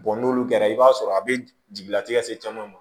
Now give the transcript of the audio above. n'olu kɛra i b'a sɔrɔ a bɛ jigilatigɛ se caman ma